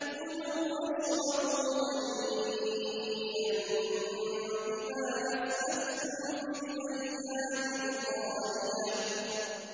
كُلُوا وَاشْرَبُوا هَنِيئًا بِمَا أَسْلَفْتُمْ فِي الْأَيَّامِ الْخَالِيَةِ